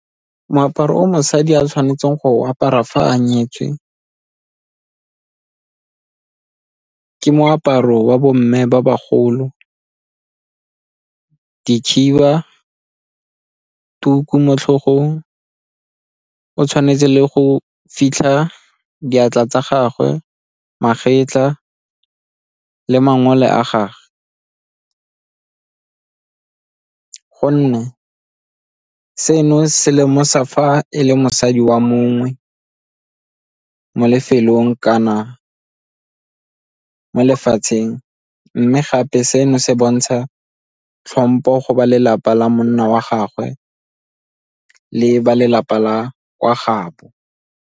Moaparo o mosadi a tshwanetseng go apara fa a nyetswe ke moaparo wa bo mme ba bagolo, dikhiba, tuku mo tlhogong, o tshwanetse le go fitlha diatla tsa gagwe, magetla le mangole a gage gonne seno se lemosa fa e le mosadi wa mongwe mo lefelong kana mo lefatsheng mme gape seno se bontsha tlhompho go ba lelapa la monna wa gagwe le ba lelapa la kwa gaabo.